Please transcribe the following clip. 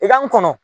I ka n kɔnɔ